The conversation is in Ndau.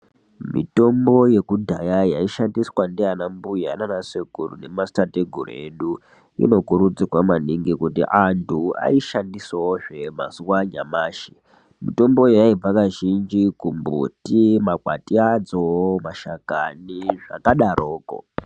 Mitombo yekudhaya yaishandiswa ndiana mbuya nnasekuru nemadziteteguru edu inokurudzirwa maningi kuti anhu aishandisewo zve mazuwa anyamashi mitombo yaibva kazhinji kumbuti, makwati adzo mashakani zvakadaroko.